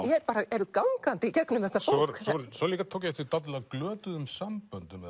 eru gangandi í gegnum þessa bók svo tók ég eftir dálitlu af glötuðum samböndum